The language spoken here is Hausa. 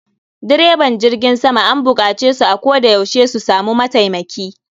Direban jirgin sama an bukace su a koda yaushe su samu mataimaki